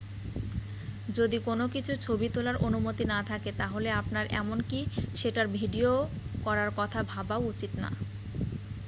যদি কোন কিছুর ছবি তোলার অনুমতি না থাকে তাহলে আপনার এমনকি সেটার ভিডিও করার কথা ভাবাও উচিত না